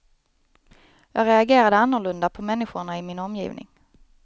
Jag reagerade annorlunda på människorna i min omgivning.